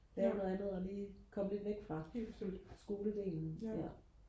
lave noget andet og lige komme lidt væk fra skoledelen